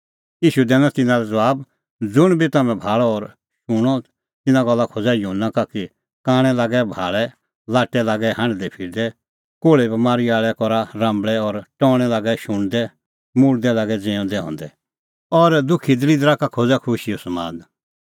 ईशू दैनअ तिन्नां लै ज़बाब ज़ुंण बी तम्हैं भाल़अ और शूणअ तिन्नां गल्ला खोज़ा युहन्ना का कि कांणै लागै भाल़ै लाट्टै लागै हांढदैफिरदै कोल़्हे बमारी आल़ै करा राम्बल़ै और टौणैं लागै शुणदै मुल्दै लागै ज़िऊंदै हंदै और दुखी दल़िदरा का खोज़ा खुशीओ समाद